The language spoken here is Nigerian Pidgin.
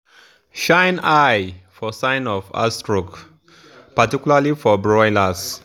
shine eye for sign of heatstroke particularly for broilers.